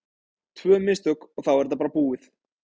Tvö mistök og þá er þetta bara búið.